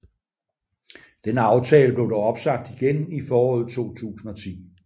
Denne aftale blev dog opsagt igen i foråret 2010